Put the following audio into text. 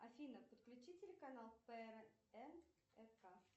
афина подключи телеканал прнк